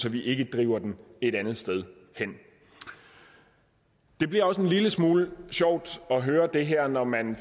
at vi ikke driver den et andet sted hen det bliver også en lille smule sjovt at høre det her når man